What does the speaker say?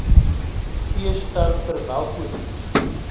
fees ter verwelkoming